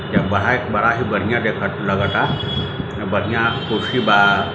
बहुत बड़ा बढ़िया ही डेकोर लगता बड़िया कुर्सी बा